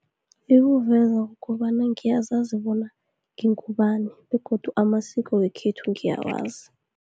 Ikuveza kobana ngiyazazi bona ngingubani, begodu amasiko wekhethu ngiyakwazi.